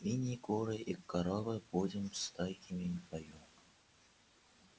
свиньи куры и коровы будем стойкими в бою